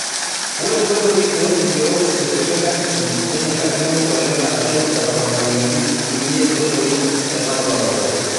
Ore nkoitoi orkigerot tekulie katitin nenyikakino oleng arashu etoponayiok kulie oitoi tena utaroto.